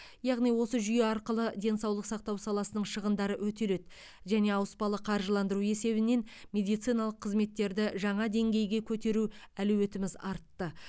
яғни осы жүйе арқылы денсаулық сақтау саласының шығындары өтеледі және ауыспалы қаржыландыру есебінен медициналық қызметтерді жаңа деңгейге көтеруге әлеуетіміз артты